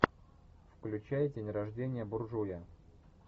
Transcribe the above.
включай день рождения буржуя